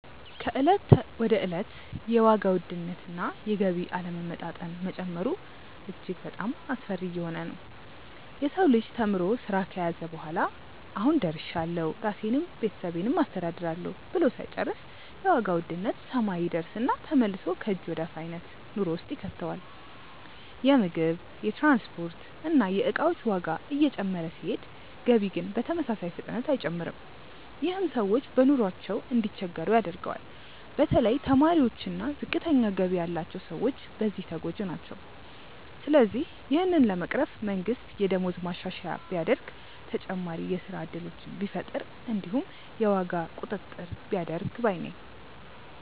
ከእለት ወደ እለት የዋጋ ውድነት እና የገቢ አለመመጣጠን መጨመሩ እጅግ በጣሞ አስፈሪ እየሆነ ነዉ። የሰው ልጅ ተምሮ ስራ ከያዘ በኋላ "አሁን ደርሻለሁ ራሴንም ቤተሰቤንም አስተዳድራለሁ" ብሎ ሳይጨርስ የዋጋ ውድነት ሰማይ ይደርስና ተመልሶ ከእጅ ወደ አፍ አይነት ኑሮ ውስጥ ይከተዋል። የምግብ፣ የትራንስፖርት እና የእቃዎች ዋጋ እየጨመረ ሲሄድ ገቢ ግን በተመሳሳይ ፍጥነት አይጨምርም። ይህም ሰዎች በኑሯቸው እንዲቸገሩ ያደርገዋል። በተለይ ተማሪዎች እና ዝቅተኛ ገቢ ያላቸው ሰዎች በዚህ ተጎጂ ናቸው። ስለዚህ ይህንን ለመቅረፍ መንግስት የደሞዝ ማሻሻያ ቢያደርግ፣ ተጨማሪ የስራ እድሎችን ቢፈጥር እንዲሁም የዋጋ ቁጥጥር ቢያደርግ ባይ ነኝ።